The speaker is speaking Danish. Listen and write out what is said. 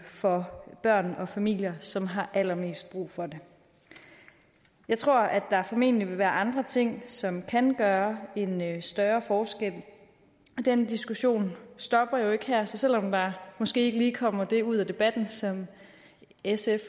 for de børn og familier som har allermest brug for det jeg tror at der formentlig vil være andre ting som kan gøre en en større forskel den diskussion stopper jo ikke her så selv om der måske ikke lige kommer det ud af debatten som sf